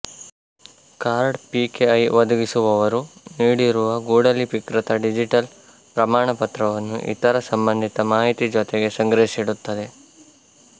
card PKI ಒದಗಿಸುವವರು ನೀಡಿರುವ ಗೂಢಲಿಪಿಕೃತ ಡಿಜಿಟಲ್ ಪ್ರಮಾಣಪತ್ರವನ್ನು ಇತರ ಸಂಬಂಧಿತ ಮಾಹಿತಿ ಜೊತೆಗೆ ಸಂಗ್ರಹಿಸಿಡುತ್ತದೆ